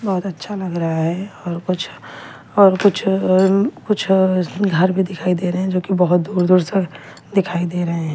बहुत अच्छा लग रहा है और कुछ और कुछ कुछ घर भी दिखाई दे रहे हैं जो कि बहुत दूर दूर से दिखाई दे रहे हैं।